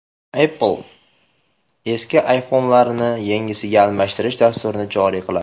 Apple eski iPhone’larni yangisiga almashtirish dasturini joriy qiladi.